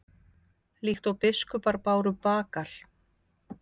Líkt og biskupar báru bagal?